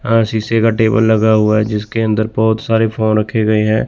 अह शीशे का टेबल लगा हुआ है जिसके अंदर बहुत सारे फोन रखे गए हैं।